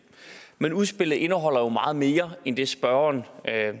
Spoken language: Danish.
med udspillet indeholder jo meget mere end det spørgeren